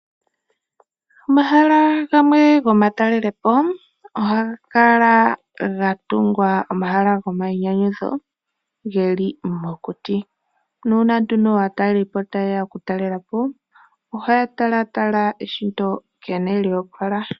Omahala gamwe go ma talelepo oha ga kala gatungwa oma hala go ma inyanyudho ge li mokuti, nuuna nduno aatalelipo ta ye ya oku talelapo, oha ya tala tala eshito sho lya opala.